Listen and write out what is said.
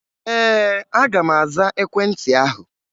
Ee, aga m aza ekwentị ahụ